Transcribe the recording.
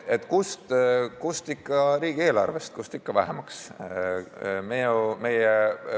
Kust ikka, riigieelarvest, kust ikka vähemaks võtta.